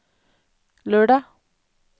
lørdag